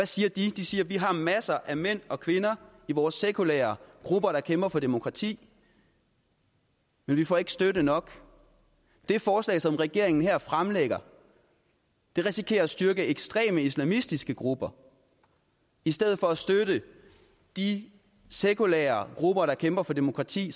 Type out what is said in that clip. siger de de siger vi har masser af mænd og kvinder i vores sekulære grupper der kæmper for demokrati men vi får ikke støtte nok det forslag som regeringen her fremlægger risikerer at styrke ekstreme islamistiske grupper i stedet for at støtte de sekulære grupper der kæmper for demokrati